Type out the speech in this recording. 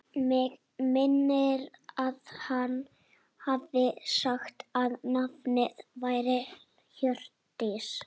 Mig minnir að hann hafi sagt að nafnið væri Hjördís.